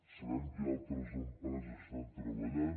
sabem que hi ha altres empreses que hi estan treballant